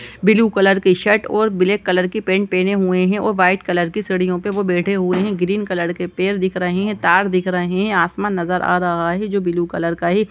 Blue colour की shirt ओर black colour के पेंट पहने हुए है और व्हाइट कलर के सीढ़ियों पे वो बैठे हुए है ग्रीन कलर के पेड़ दिख रहे है तार दिख रहे है आसमान नज़र आ रहा है जो ब्लू कलर का हैं।